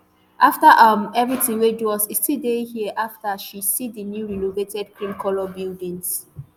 afta um evritin wey do us e still dey here afta she see di new renovated creamcolour buildings